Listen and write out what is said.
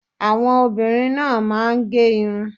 Àwọn obìnrin náà máa ń gẹ irun